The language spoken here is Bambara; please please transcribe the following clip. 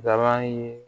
Dabanin